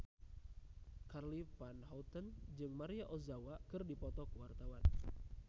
Charly Van Houten jeung Maria Ozawa keur dipoto ku wartawan